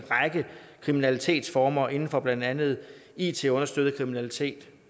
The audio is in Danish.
en række kriminalitetsformer inden for blandt andet it understøttet kriminalitet